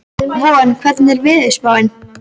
Von, hvernig er veðurspáin?